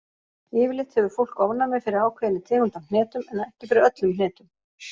Yfirleitt hefur fólk ofnæmi fyrir ákveðinni tegund af hnetum, en ekki fyrir öllum hnetum.